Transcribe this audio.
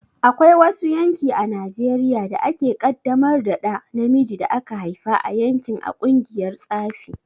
Akwai wasu yanki a Najeriya da ake kaddamar da ɗa namijin da aka haifa a yankin a ƙungiyar tsafi.